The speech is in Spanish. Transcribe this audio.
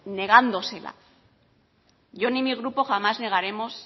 negándosela yo ni mi grupo jamás negaremos